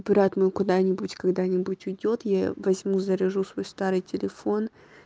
брат мой куда-нибудь когда-нибудь уйдёт я возьму заряжу свой старый телефон